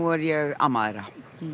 er ég amma þeirra